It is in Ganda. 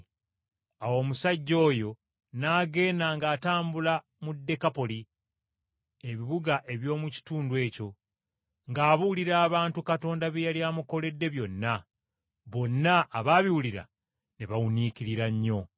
Awo omusajja oyo n’agenda ng’atambula mu Dekapoli (ebibuga eby’omu kitundu ekyo) ng’abuulira abantu Katonda bye yali amukoledde byonna. Bonna abaabiwulira ne bawuniikirira nnyo.